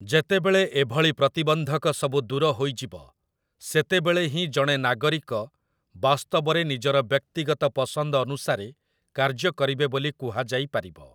ଯେତେବେଳେ ଏଭଳି ପ୍ରତିବନ୍ଧକ ସବୁ ଦୂର ହୋଇଯିବ, ସେତେବେଳେ ହିଁ ଜଣେ ନାଗରିକ ବାସ୍ତବରେ ନିଜର ବ୍ୟକ୍ତିଗତ ପସନ୍ଦ ଅନୁସାରେ କାର୍ଯ୍ୟ କରିବେ ବୋଲି କୁହାଯାଇପାରିବ ।